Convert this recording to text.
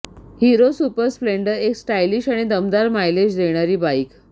hero super splendor एक stylish आणि दमदार मायलेज देणारी बाइक